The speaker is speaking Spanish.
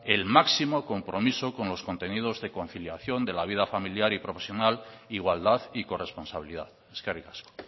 que el máximo compromiso con los contenidos de conciliación de la vida familiar y profesional igualdad y corresponsabilidad eskerrik asko